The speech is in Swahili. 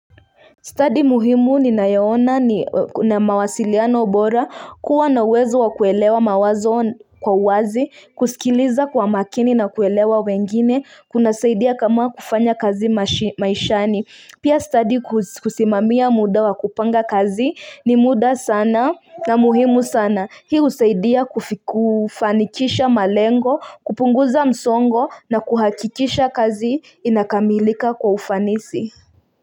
Study muhimu ninayoona na mawasiliano bora kuwa na uwezo wa kuelewa mawazo kwa uwazi, kusikiliza kwa makini na kuelewa wengine, kunasaidia kama kufanya kazi maishani. Pia study kusimamia muda wa kupanga kazi ni muda sana na muhimu sana. Hii husaidia kufanikisha malengo, kupunguza msongo na kuhakikisha kazi inakamilika kwa ufanisi.